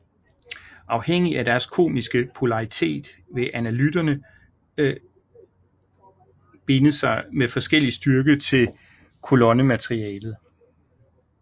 Afhængigt af deres kemiske polaritet vil analytterne binde sig med forskellig styrke til kolonnematerialet